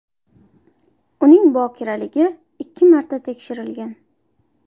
Uning bokiraligi ikki marta tekshirilgan.